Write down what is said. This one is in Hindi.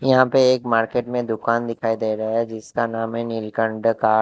यहां पर एक मार्केट में दुकान दिखाई दे रहा है जिसका नाम है नीलकंठ दा कार।